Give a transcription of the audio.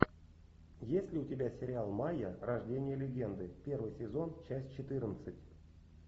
есть ли у тебя сериал майя рождение легенды первый сезон часть четырнадцать